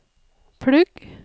plugg